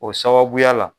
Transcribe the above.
O sababuya la